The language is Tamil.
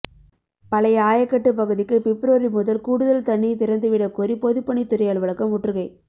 பழைய ஆயக்கட்டு பகுதிக்கு பிப்ரவரி முதல் கூடுதல் தண்ணீர் திறந்து விடக்கோரி பொதுப்பணித்துறை அலுவலகம் முற்றுகை